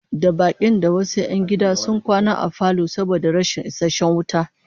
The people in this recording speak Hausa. Da bakin da wasu 'yan gida sun kwana a falo saboda rashin isasshen waje